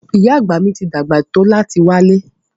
Ìyá Àgbà ti dàgbà tó láti wálẹ́.